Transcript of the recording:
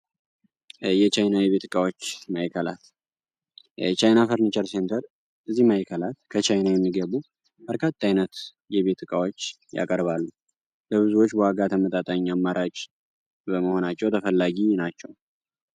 የ ቻይና የ ቤት እቃዎች ማእከላት የ ቻይና ፈርንቸር ሴንተር እዚ ማእከላት ከ ቻይና የሚገቡ በርካታ አይነት የ ቤት እቃዎች ያቀርባል ብዙዎች ተመጣጣኝ ዋጋ አማራጭ በመሆናቸው ተፈላጊ ናቸው ።